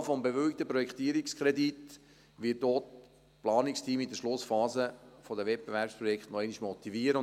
Das Signal des bewilligten Projektierungskredits wird auch die Planungsteams in der Schlussphase des Wettbewerbsprojekts noch einmal motivieren.